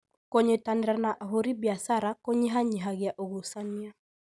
Kũnyitanĩra na ahũri biacara kũnyihanyihia ũgucania